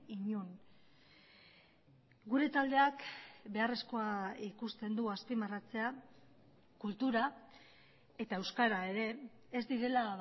inon gure taldeak beharrezkoa ikusten du azpimarratzea kultura eta euskara ere ez direla